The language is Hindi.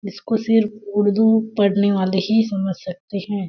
इसको सिर्फ़ उर्दू पढ़ने वाले ही समझ सकते हैं ।